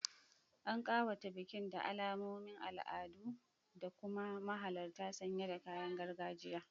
An kawata bikin da alamomin al'adu, da kuma mahalarta sanye da kayan gargajiya.